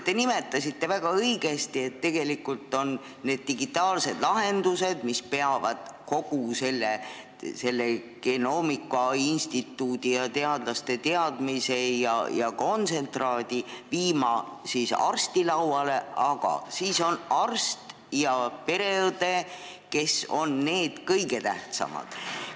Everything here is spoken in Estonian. Te nimetasite väga õigesti, et digitaalsed lahendused peavad kogu selle genoomikainstituudi ja teadlaste teadmise ja kontsentraadi viima arsti lauale, aga siis on arst ja pereõde, kes on kõige tähtsamad.